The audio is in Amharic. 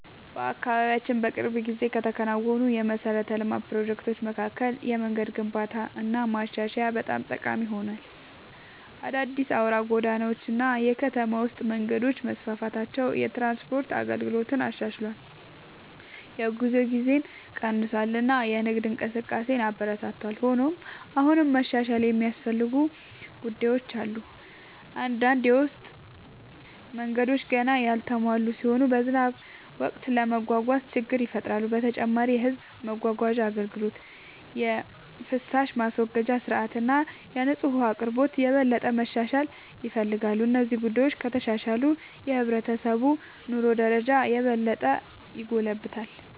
በአካባቢያችን በቅርብ ጊዜ ከተከናወኑ የመሠረተ ልማት ፕሮጀክቶች መካከል የመንገድ ግንባታና ማሻሻያ በጣም ጠቃሚ ሆኗል። አዳዲስ አውራ ጎዳናዎች እና የከተማ ውስጥ መንገዶች መስፋፋታቸው የትራንስፖርት አገልግሎትን አሻሽሏል፣ የጉዞ ጊዜን ቀንሷል እና የንግድ እንቅስቃሴን አበረታቷል። ሆኖም አሁንም መሻሻል የሚያስፈልጉ ጉዳዮች አሉ። አንዳንድ የውስጥ መንገዶች ገና ያልተሟሉ ሲሆኑ በዝናብ ወቅት ለመጓጓዝ ችግር ይፈጥራሉ። በተጨማሪም የሕዝብ ማጓጓዣ አገልግሎት፣ የፍሳሽ ማስወገጃ ሥርዓት እና የንጹህ ውኃ አቅርቦት የበለጠ መሻሻል ይፈልጋሉ። እነዚህ ጉዳዮች ከተሻሻሉ የሕብረተሰቡ የኑሮ ደረጃ የበለጠ ይጎለብታል።